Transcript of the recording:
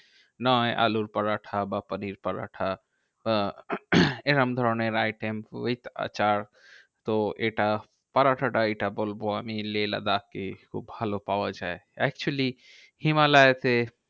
নয় আলুর পরোটা বা পানির পরোটা বা এরম ধরণের item with আচার। তো এটা পরোটাটা এইটা বলবো আমি লেহ লাদাখে খুব ভালো পাওয়া যায়। actually হিমালয়তে